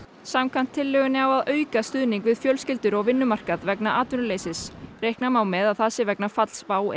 samkvæmt tillögunni á að auka stuðning við fjölskyldur og vinnumarkað vegna atvinnuleysis reikna má með að það sé vegna falls WOW